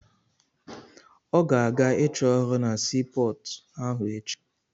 Ọ ga-aga ịchọ ọrụ na sii pọọtụ ahụ echi.